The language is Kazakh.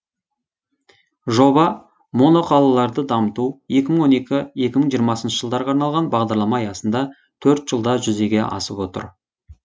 жоба моноқалаларды дамыту екі мың он екі екі мың жиырмасыншы жылдарға арналған бағдарлама аясында төрт жылда жүзеге асып отыр